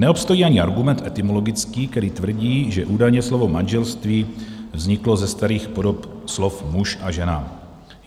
Neobstojí ani argument etymologický, který tvrdí, že údajně slovo manželství vzniklo ze starých podob slov muž a žena.